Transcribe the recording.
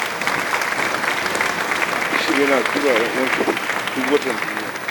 Bashir yana tura wa 'ya uwansa kuɗi duk watan duniya.